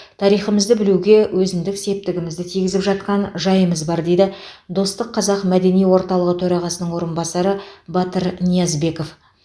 тарихымызды білуге өзіндік септігімізді тигізіп жатқан жайымыз бар дейді достық қазақ мәдени орталығы төрағасының орынбасары батыр ниязбеков